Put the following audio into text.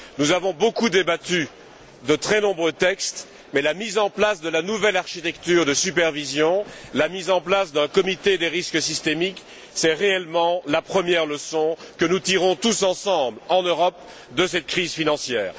Nous avons beaucoup débattu de très nombreux textes, mais la mise en place de la nouvelle architecture de supervision et d'un Comité du risque systémique est réellement la première leçon que nous tirons tous ensemble, en Europe, de cette crise financière.